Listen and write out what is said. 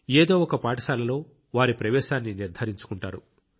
ఏదో ఒక పాఠశాలలో వారి ప్రవేశాన్ని నిర్ధారించుకుంటారు